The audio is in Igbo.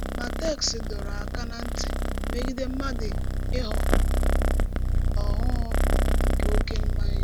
Má téksì dòrò ákà ná ntì mègìdè mmádụ íghọ̀ “òhù nké òké mmànỳà.”